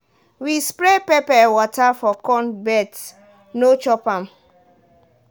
we spray pepper water for corn birds no chop am.